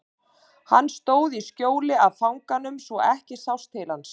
Hann stóð í skjóli af fanganum svo ekki sást til hans.